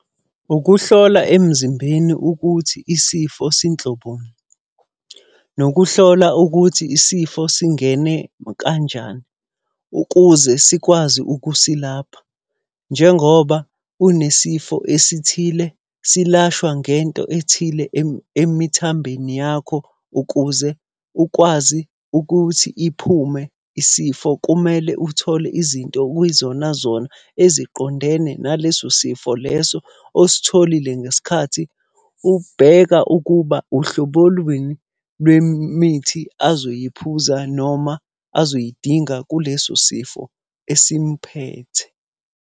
Ukuhlola emzimbeni ukuthi isifo sinhloboni. Nokuhlola ukuthi isifo singene kanjani, ukuze sikwazi ukusilapha. Njengoba unesifo esithile, silashwa ngento ethile emithambeni yakho. Ukuze ukwazi ukuthi iphume isifo kumele uthole izinto okuyizona zona eziqondene naleso sifo leso ositholile ngesikhathi ubheka ukuba uhlobo lwini lwemithi azoyiphuza noma azoyidinga kuleso sifo esimphethe.